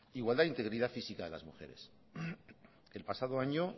igualdad integridad física de las mujeres el pasado año